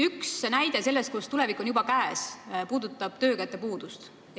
Üks näide sellest, et see tulevik on juba käes, on töökäte puudus.